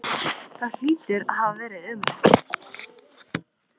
Það hlýtur að hafa verið ömurlegt.